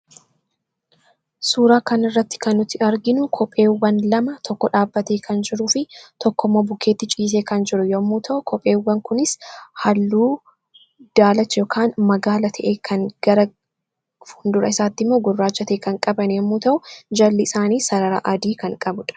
Suuraa kanarratti kan arginu kopheewwan lama tokko dhaabbatee kan jiruu fi tokkommoo bukkeetti ciisee kan jiru yoo ta’u, kopheewwan kunis halluu daalacha yookaan magaala ta'e kan qabu fi fuuldura isaaniitti immoo halluu gurraacha kan qabuu fi jalatti immoo sarara adii kan qabudha.